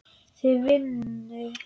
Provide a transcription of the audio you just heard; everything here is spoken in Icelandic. Þau í vinnu.